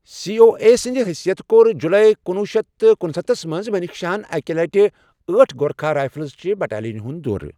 C O A S سٕندِ حٔیثِیتہٕ کوٚر جُلای کنوہہ شتھ تہٕ کنستتھس منٛز منیکشاہن اکہِ لٹہِ ٲٹھ گورکھا رایفٕلز چہِ بٹالِینہِ ہٗند دورٕ۔